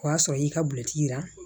O y'a sɔrɔ i y'i ka bil'i la